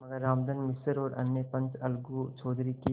मगर रामधन मिश्र और अन्य पंच अलगू चौधरी की